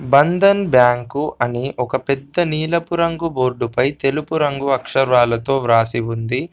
Bandhan bank అని ఒక పెద్ద నీలపు రంగు బోర్డు పై తెలుపు రంగు అక్షరాలతో వ్రాసి ఉంది.